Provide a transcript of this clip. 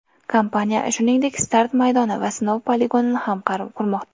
Kompaniya, shuningdek, start maydoni va sinov poligonini ham qurmoqda.